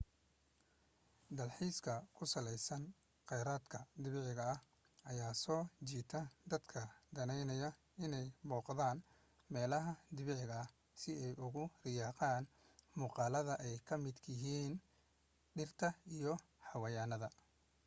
dalxiiska ku saleysan qeyraadka dabiiciga ayaa soo jiita dadka daneynaya inee booqdaan meelaha dabiiciga si ay ugu riyaaqan muuqaladaa ay ka midka yihiin dhirta iyo xayawaanada